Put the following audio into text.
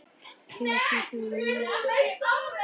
Kemur þetta mönnum á óvart?